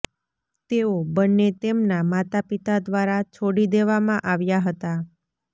તેઓ બંને તેમના માતાપિતા દ્વારા છોડી દેવામાં આવ્યા હતા